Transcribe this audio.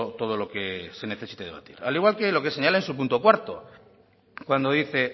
todo lo que se necesite debatir al igual que lo que señala en su punto cuarto cuando dice